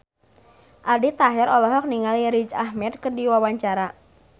Aldi Taher olohok ningali Riz Ahmed keur diwawancara